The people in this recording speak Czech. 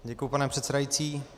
Děkuji, pane předsedající.